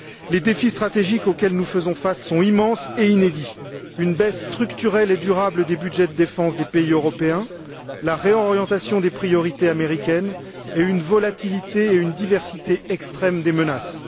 Les défis stratégiques auxquels nous faisons face sont immenses et inédits une baisse structurelle et durable des budgets de défense des pays européens, la réorientation des priorités américaines, une volatilité et une diversité extrême des menaces.